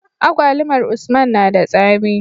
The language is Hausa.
Agwalumar usman nada tsami